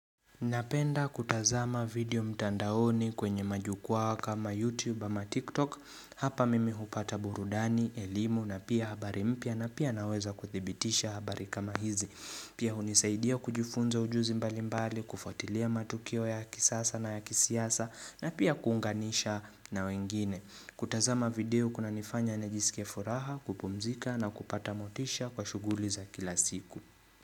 Napenda kutazama video mtandaoni kwenye majukwaa kama youtube ama tiktok Hapa mimi hupata burudani, elimu na pia habari mpya na pia naweza kuthibitisha habari kama hizi Pia hunisaidia kujifunza ujuzi mbali mbali, kufuatilia matukio ya kisasa na ya kisiasa na pia kuunganisha na wengine kutazama video kuna nifanya na jisikie furaha, kupumzika na kupata motisha kwa shuguli za kila siku.